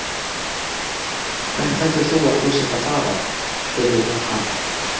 Hvert heldur þú að þú sért að fara? spurði hún hann.